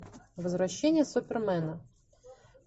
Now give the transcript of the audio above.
возвращение супермена